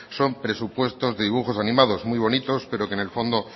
son presupuestos de dibujos animados muy bonitos pero que en el fondo